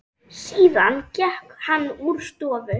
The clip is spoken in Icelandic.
Síðan gekk hann úr stofu.